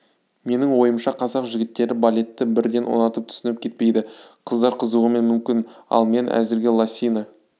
менің ойымша қазақ жігіттері балетті бірден ұнатып түсініп кетпейді қыздар қызығуы мүмкін ал мен әзірге лосина